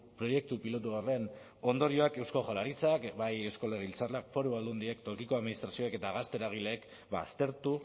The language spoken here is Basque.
proiektu pilotu horren ondorioak eusko jaurlaritzak bai eusko legebiltzarrak foru aldundiak tokiko administrazioek eta gazte eragileek aztertu